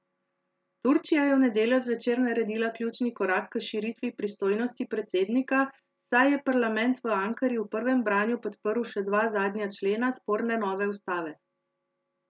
Turčija je v nedeljo zvečer naredila ključni korak k širitvi pristojnosti predsednika, saj je parlament v Ankari v prvem branju podprl še dva zadnja člena sporne nove ustave.